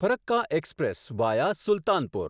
Farakka express via Sultanpur